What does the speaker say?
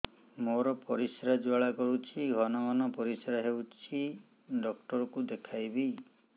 ମୋର ପରିଶ୍ରା ଜ୍ୱାଳା କରୁଛି ଘନ ଘନ ପରିଶ୍ରା ହେଉଛି ଡକ୍ଟର କୁ ଦେଖାଇବି